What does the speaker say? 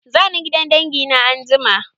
Za ni gidan dangi na anjima.